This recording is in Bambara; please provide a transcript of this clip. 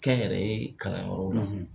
Kɛ n yɛrɛ ye kalanyɔrɔ la